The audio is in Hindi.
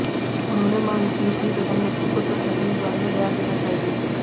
उन्होंने मांग की कि प्रधानमंत्री को संसद में इस बारे में बयान देना चाहिए